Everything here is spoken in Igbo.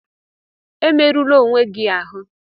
Emerụla onwe gị ahụ!